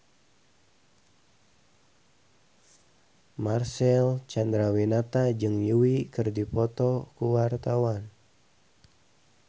Marcel Chandrawinata jeung Yui keur dipoto ku wartawan